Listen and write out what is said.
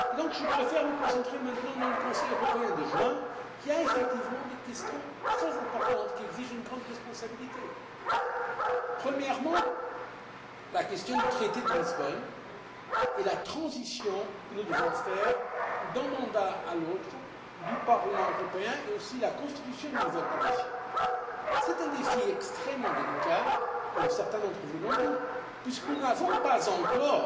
Mais je préfère me concentrer maintenant sur le Conseil européen de juin, qui a effectivement des questions très importantes à traiter et qui exige une grande responsabilité. Premièrement, la question du traité de Lisbonne et la transition que nous devons opérer d'un mandat à l'autre du Parlement européen, mais aussi la constitution d'une nouvelle Commission. C'est un défi extrêmement délicat comme certains d'entre vous l'ont dit puisque nous n'avons pas